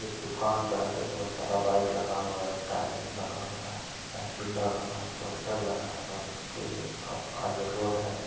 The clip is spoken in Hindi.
एक दुकान के आगे बहोत सारा बाइक लगा हुआ है टाइल्स लगा हुआ है साइकिल लगा हुआ है पोस्टर लगा हुआ है उसके आप आगे रोड है।